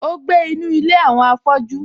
Ó gbé nínu ilé àwọn afọ́jú